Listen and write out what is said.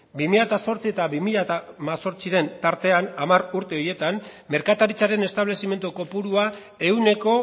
bi mila zortzi eta bi mila hemezortziren tartean hamar urte horietan merkataritzaren establezimendu kopurua ehuneko